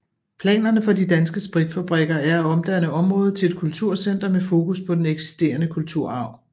Planerne for De Danske Spritfabrikker er at omdanne området til et kulturcenter med fokus på den eksisterende kulturarv